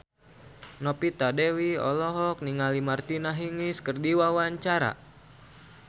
Novita Dewi olohok ningali Martina Hingis keur diwawancara